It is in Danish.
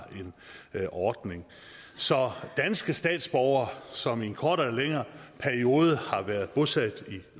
en ordning så danske statsborgere som i en kortere eller længere periode har været bosat i